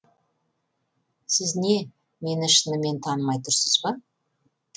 сіз не мені шынымен танымай тұрсыз ба